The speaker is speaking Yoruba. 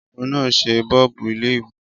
Ọkùnrin náà ṣe bọ́ọ́bú ilé mi.